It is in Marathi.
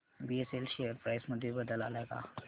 बीएसएल शेअर प्राइस मध्ये बदल आलाय का